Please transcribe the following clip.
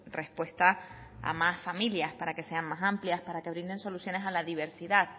respuesta a más familias para que sean más amplias para que brinden soluciones a la diversidad